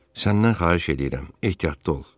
Səndən xahiş eləyirəm, ehtiyatlı ol.